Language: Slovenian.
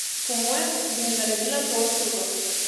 Po mojem bi mi naredila to uslugo.